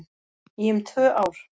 Í um tvö ár